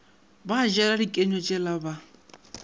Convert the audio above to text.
ba jela dikenywa tšela ba